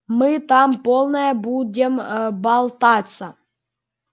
мы там полная будем болтаться